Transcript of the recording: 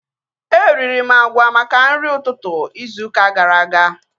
Eriri m agwa maka nri ụtụtụ izu ụka gara aga